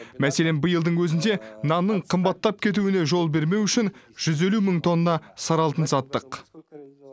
мәселен биылдың өзінде нанның қымбаттап кетуіне жол бермеу үшін жүз елу мың тонна сары алтын саттық